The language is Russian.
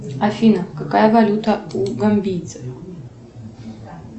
афина какая валюта у гамбийцев